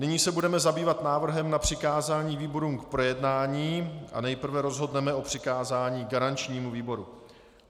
Nyní se budeme zabývat návrhem na přikázání výborům k projednání a nejprve rozhodneme o přikázání garančnímu výboru.